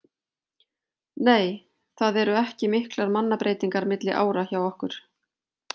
Nei það eru ekki miklar mannabreytingar milli ára hjá okkur.